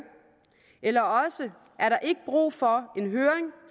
eller også er der ikke brug for en høring